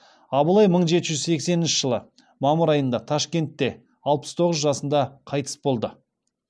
абылай мың жеті жүз сексенінші жылы мамыр айында ташкентте алпыс тоғыз жасында қайтыс болды